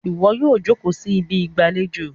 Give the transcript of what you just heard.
iwọ yíò joko sí Ibi ìgbàlejò!